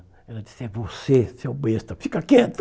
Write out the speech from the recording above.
Ela disse, é você, seu besta, fica quieto.